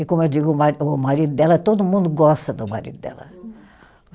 E como eu digo, o ma o marido dela, todo mundo gosta do marido dela.